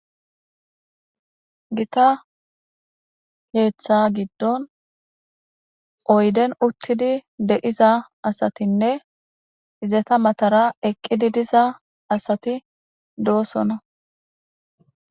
Gita keeththa giddon oyden uttidi deiza asatinne izeta matara eqqidi diza asati doosona.